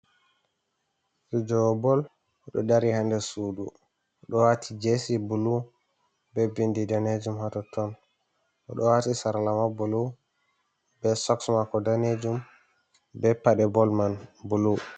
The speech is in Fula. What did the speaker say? Fijowo bol oɗo dari ha nder sudu oɗo wati jesi bulu be bindi danejum hatoton oɗo wati sarla ma bulu be soks mako danejum be paɗe bol man bulu.